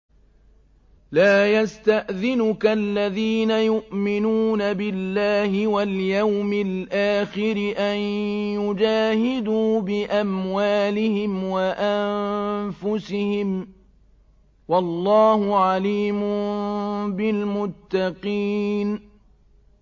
لَا يَسْتَأْذِنُكَ الَّذِينَ يُؤْمِنُونَ بِاللَّهِ وَالْيَوْمِ الْآخِرِ أَن يُجَاهِدُوا بِأَمْوَالِهِمْ وَأَنفُسِهِمْ ۗ وَاللَّهُ عَلِيمٌ بِالْمُتَّقِينَ